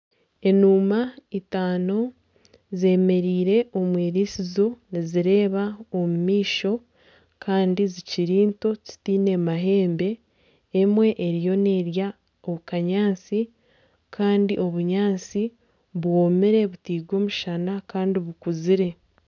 Enuuma itano zemereire omu irisizo nizireeba omu maisho kandi zikiri nto tizaine mahembe emwe eriyo n'erya akanyaatsi kandi obunyaatsi bwomire butairwe omushana kandi bukuzire.